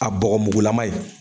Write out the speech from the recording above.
A bɔgɔmugulama ye